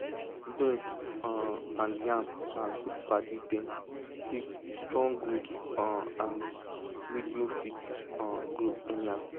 beans um and yam na good padi dem give strong root um and weed no fit um grow anyhow